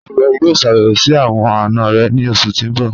Ṣẹ́ iwọ yọ̀o ṣàbẹ̀wò sí awọn ana rẹ̀ ni ọṣù tí n bọ̀?